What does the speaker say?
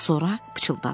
Sonra pıçıldadı.